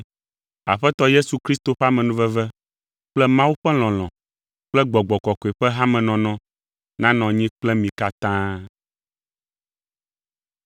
Aƒetɔ Yesu Kristo ƒe amenuveve kple Mawu ƒe lɔlɔ̃ kple Gbɔgbɔ Kɔkɔe la ƒe hamenɔnɔ nanɔ anyi kple mi katã.